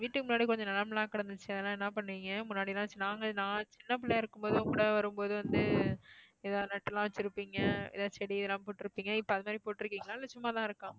வீட்டுக்கு முன்னாடி கொஞ்சம் நிலம் எல்லாம் கிடந்துச்சே அதெல்லாம் என்ன பண்ணீங்க? முன்னாடியெல்லாம் சின்ன~ நாங்க நான் சின்ன புள்ளயா இருக்கும்போது உள்ள வரும்போது வந்து ஏதாவது நட்டெல்லாம் வச்சிருப்பீங்க ஏதாவது செடியெல்லாம் போட்டிருப்பீங்க. இப்போ அது மாதிரி போட்டிருக்கீங்களா இல்ல சும்மா தான் இருக்கா?